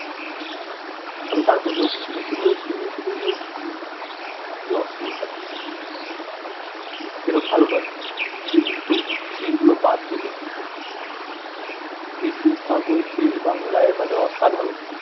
তবে তার মধ্যেও কিছু কিছু web series আছে উহ খুবই অশ্লীল but সেরম ভাল নয় কিন্তু সেই গুলো বাদ দিলে বেশিরভাগ web series বাংলায় মনে অসাধারন